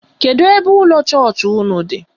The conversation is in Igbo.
Kedụ ebe ụlọ chọọchị ụnụ dị?